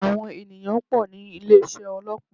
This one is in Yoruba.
Àwọn ènìyàn pò ní ilé isé ọlọ́pàá